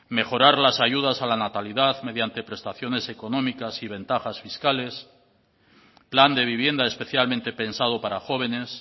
mejorar las ayudas a la natalidad mediante prestaciones económicas y ventajas fiscales plan de vivienda especialmente pensado para jóvenes